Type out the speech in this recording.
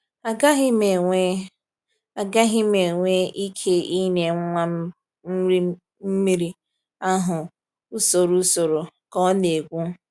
“Agaghị m enwe “Agaghị m enwe ike ịnye nwa m nri mmiri ahụ n’usoro usoro,” ka ọ na-ekwu.